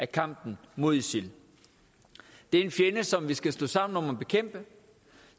kampen mod isil det er en fjende som vi skal stå sammen om at bekæmpe